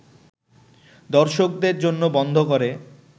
দর্শকদের জন্য বন্ধ করে